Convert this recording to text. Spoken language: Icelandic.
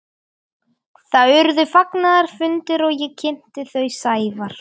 Það urðu fagnaðarfundir og ég kynnti þau Sævar.